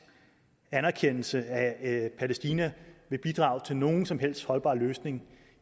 anerkendelse af palæstina vil bidrage til nogen som helst holdbar løsning